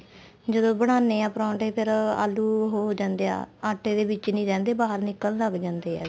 ਜਦੋਂ ਬਣਾਨੇ ਆ ਪਰੋਂਠੇ ਫੇਰ ਆਲੂ ਹੋ ਜਾਂਦੇ ਆ ਆਟੇ ਦੇ ਵਿੱਚ ਨਹੀਂ ਰਹਿੰਦੇ ਬਾਹਰ ਨਿਕਲਣ ਲੱਗ ਜਾਂਦੇ ਏ